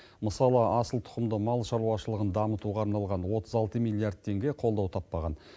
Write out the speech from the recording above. мысалы асылтұқымды мал шаруашылығын дамытуға арналған отыз алты миллиард теңге қолдау таппаған